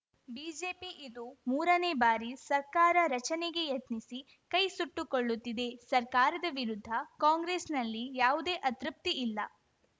BJP ಇದು ಮೂರನೇ ಬಾರಿ ಸರ್ಕಾರ ರಚನೆಗೆ ಯತ್ನಿಸಿ ಕೈಸುಟ್ಟುಕೊಳ್ಳುತ್ತಿದೆ ಸರ್ಕಾರದ ವಿರುದ್ಧ ಕಾಂಗ್ರೆಸ್‌ನಲ್ಲಿ ಯಾವುದೇ ಅತೃಪ್ತಿ ಇಲ್ಲ